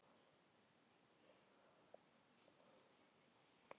Sjónin er skörp og sjónsvið þeirra mikið.